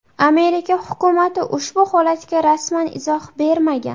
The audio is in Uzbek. Amerika hukumati ushbu holatga rasman izoh bermagan.